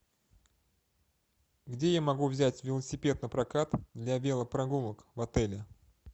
где я могу взять велосипед напрокат для велопрогулок в отеле